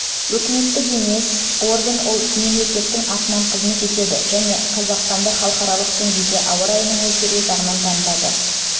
үкіметтік емес орган ол мемлекеттің атынан қызмет етеді және қазақстанды халықаралық деңгейде ауа райының өзгеруі жағынан танытады